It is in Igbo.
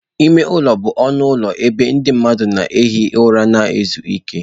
Ime ụlọ bụ ọnụ ụlọ ebe ndị mmadụ na-ehi ụra ma ezu ike.